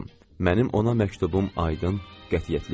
Mənim ona məktubum aydın, qətiyyətli idi.